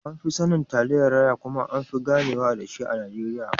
An fi sanin Taliyan raya kuma anfi ganewa dashi a Najeriya.